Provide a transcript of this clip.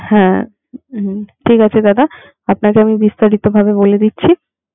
হ্যা ঠিক আছে দাদা আপনাকে আমি বিস্তারিত ভাবে বলে দিচ্ছি